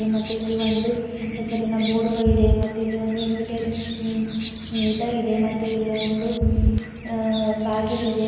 ಮತ್ತೆ ಇಲ್ಲಿ ಒಂದು ಹೆಸರಿನ ಬೋರ್ಡುಗಳಿದೆ ಮತ್ತು ಇಲ್ಲಿ ಒಂದು ಇನ್ವಿಟರ್ ಇ ಇನ್ವಿಟರ್ ಇದೆ ಮತ್ತು ಇಲ್ಲೊಂದು ಅ ಬಾಗಿಲಿದೆ.